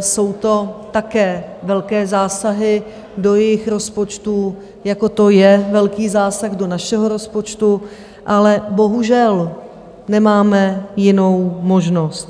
jsou to také velké zásahy do jejich rozpočtů, jako to je velký zásah do našeho rozpočtu, ale bohužel nemáme jinou možnost.